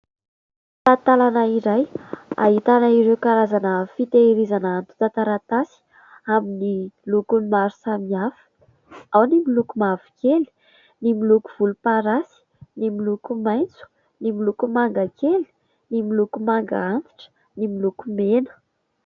Tantalana iray ahitana ireo karazana fiteherizana antotan-taratasy amin'ny lokony maro samihafa. Ao ny miloko mavokely, ny miloko volomparasy, ny miloko maitso, ny miloko manga kely, ny miloko manga antitra, ny miloko mena.